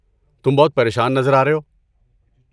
تم بہت پریشان نظر آ رہے ہو۔